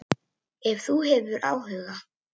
Ef þú hefur áhuga.